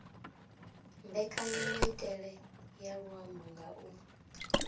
mbekanyamaitele ya luambo nga u